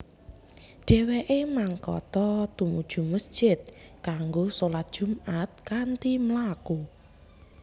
Dhèwèké mangkata tumuju mesjid kanggo sholat Jumaat kanthi mlaku